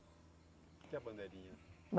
O que é bandeirinha?